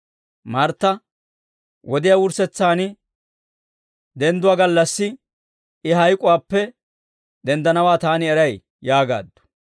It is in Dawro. Martta, «Wodiyaa wurssetsaan dendduwaa gallassi, I hayk'uwaappe denddanawaa taani eray» yaagaaddu.